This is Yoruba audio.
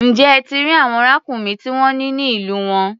Ǹjẹ́ ẹ ti rí àwọn ràkúnmí tí wọ́n ní ní ìlú wọn?